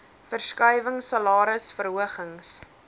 verskuiwing salaris verhogings